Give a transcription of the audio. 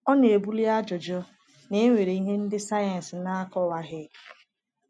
Ọ na-ebuli ajụjụ na e nwere ihe ndị sayensị na-akọwaghị.